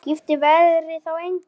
Skipti veðrið þá engu.